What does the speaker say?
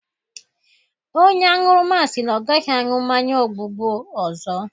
Onye aṅụrụma si na ọ agaghị aṅụ mmanya ogbugbu ọzọ.